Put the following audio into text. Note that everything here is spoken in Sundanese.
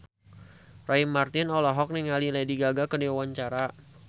Roy Marten olohok ningali Lady Gaga keur diwawancara